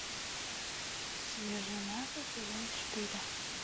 свежее мясо сезон четыре